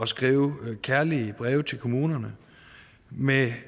skrive kærlige breve til kommunerne med